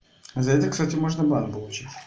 за это кстати можно бан получить